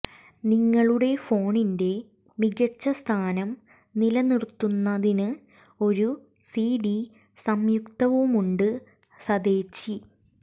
നിങ്ങളുടെ ഫോണിന്റെ മികച്ച സ്ഥാനം നിലനിർത്തുന്നതിന് ഒരു സിഡി സംയുക്തവുമുണ്ട് സതേച്ചി